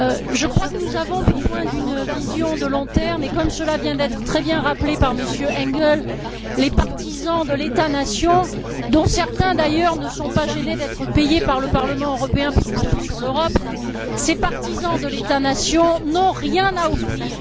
Je crois que nous avons besoin d'une vision à long terme, et comme cela vient d'être très bien rappelé par M. Engel, les partisans de l'État nation dont certains, d'ailleurs, ne sont pas gênés d'être payés par le Parlement européen pour cracher sur l'Europe n'ont rien à offrir.